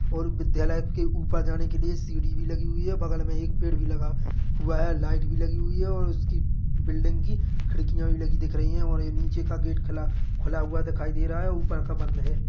-- और विद्यालय के ऊपर जाने के लिए सीडी भी लगी हुई हैं बगल मे एक पेड़ भी लगा हुआ है लइट लगी हुई है और उसकी बिल्डिंग की खिड़किया भी लगी दिख रही हैं और नीचे का गेट खुला खुला हुआ दिखाई दे रहा है ऊपर का बंद है।